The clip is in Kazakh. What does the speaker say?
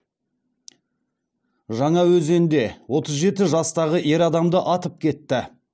жаңаөзенде отыз жеті жастағы ер адамды атып кетті